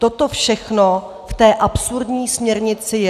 Toto všechno v té absurdní směrnici je.